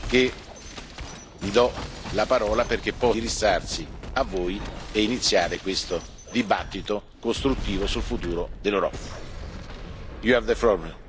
Quindi è con grande piacere che gli do la parola perché possa indirizzarsi a voi e iniziare questa discussione costruttiva sul futuro dell'Europa.